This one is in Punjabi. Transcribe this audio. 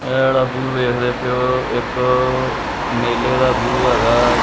ਏਹ ਜੇਹੜਾ ਵਿਊ ਵੇਖਦੇ ਪਏ ਹੋ ਇੱਕ ਮੇਲੇ ਦਾ ਵਿਊ ਹੈਗਾ।